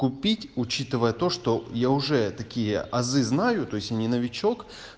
купить учитывая то что я уже такие азы знаю то есть я не новичок